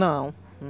Não.